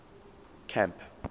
camp